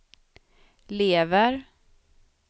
lever